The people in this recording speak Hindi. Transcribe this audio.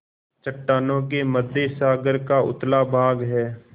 चट्टानों के मध्य सागर का उथला भाग है